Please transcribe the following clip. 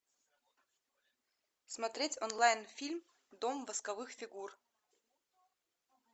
смотреть онлайн фильм дом восковых фигур